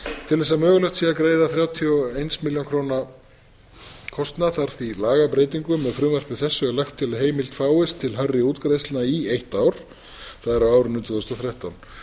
til þess að mögulegt sé að greiða þrjátíu og einnar milljón króna kostnað þarf því lagabreytingu með frumvarpi þessu er lagt til að heimild fáist til hærri útgreiðslna í eitt ár það er á árinu tvö þúsund og þrettán